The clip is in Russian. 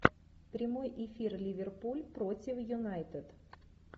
прямой эфир ливерпуль против юнайтед